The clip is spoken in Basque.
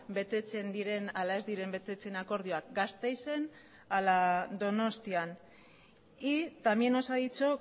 betetzen diren ala ez diren betetzen akordioak gasteizen ala donostian y también nos ha dicho